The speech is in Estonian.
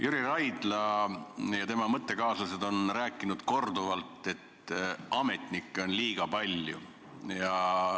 Jüri Raidla ja tema mõttekaaslased on rääkinud korduvalt, et ametnikke on liiga palju.